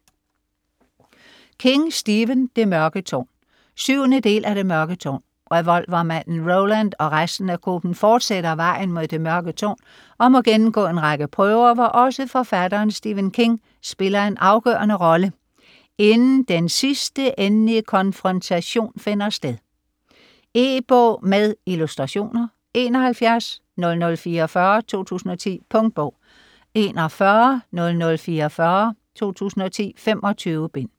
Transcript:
King, Stephen: Det mørke tårn 7. del af Det mørke tårn. Revolvermanden Roland og resten af gruppen fortsætter vejen mod det mørke tårn, og må gennemgå en række prøver, hvor også forfatteren Stephen King spiller en afgørende rolle, inden den sidste, endelige konfrontation finder sted. E-bog med illustrationer 710044 2010. Punktbog 410044 2010. 25 bind.